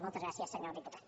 moltes gràcies senyor diputat